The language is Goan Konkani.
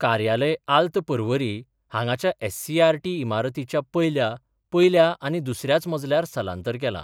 कार्यालय आल्त पर्वरी हांगाच्या एससीईआरटी इमारतीच्या पयल्या पयल्या आनी दुसर्याच मजल्यार स्थलांतर केला.